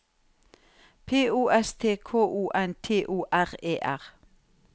P O S T K O N T O R E R